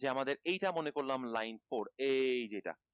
যে আমাদের এই টা মনে করলাম line fort এই যে এটা